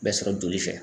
Bɛ sɔrɔ joli fɛ